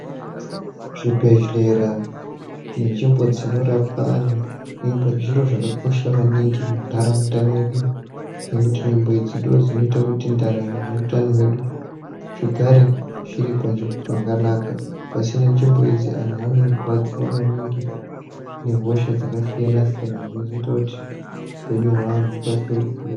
Zvibhedhlera nenzvimbo dzinorapwa antu zviro zvakakosha maningi muntaraunda mwedu nekuti nzvimbo idzi ndodzinoita kut ndaramo neutano hwedu zvigare zviri panzvimbo pakanaka pasina nzvimbo idzi antu anorwadziwa maningi nehosha dzakasiyana siyana zvinozoita kuti upenyu hweantu hukasike kuguka.